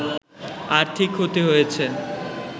আর্থিক ক্ষতি হয়েছে